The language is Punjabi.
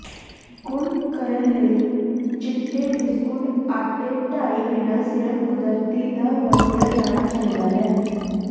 ਗੁਨ੍ਹ ਕਰਨ ਲਈ ਚਿੱਟੇ ਬਿਸਕੁਟ ਆਟੇ ਡਾਈ ਬਿਨਾ ਸਿਰਫ ਕੁਦਰਤੀ ਦਹ ਵਰਤਿਆ ਜਾਣਾ ਚਾਹੀਦਾ ਹੈ